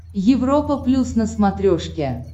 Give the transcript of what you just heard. европа плюс на смотрешке